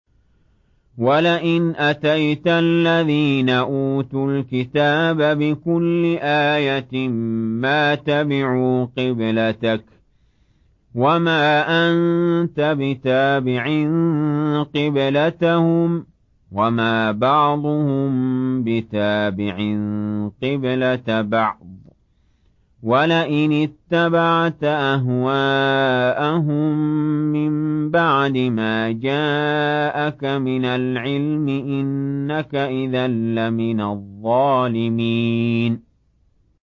وَلَئِنْ أَتَيْتَ الَّذِينَ أُوتُوا الْكِتَابَ بِكُلِّ آيَةٍ مَّا تَبِعُوا قِبْلَتَكَ ۚ وَمَا أَنتَ بِتَابِعٍ قِبْلَتَهُمْ ۚ وَمَا بَعْضُهُم بِتَابِعٍ قِبْلَةَ بَعْضٍ ۚ وَلَئِنِ اتَّبَعْتَ أَهْوَاءَهُم مِّن بَعْدِ مَا جَاءَكَ مِنَ الْعِلْمِ ۙ إِنَّكَ إِذًا لَّمِنَ الظَّالِمِينَ